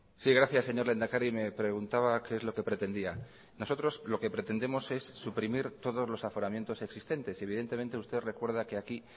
sí gracias señor lehendakari me preguntaba qué es lo que pretendía nosotros lo que pretendemos es suprimir todos los aforamientos existentes y evidentemente usted recuerda que aquí